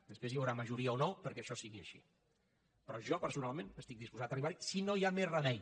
després hi haurà majoria o no perquè això sigui així però jo personalment estic disposat a arribarhi si no hi ha més remei